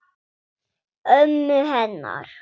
Ömmu hennar.